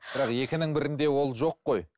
бірақ екінің бірінде ол жоқ қой